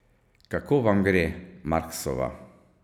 Kako vam gre, Marksova?